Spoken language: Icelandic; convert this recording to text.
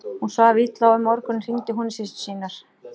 Hún svaf illa og um morguninn hringdi hún í systur sínar.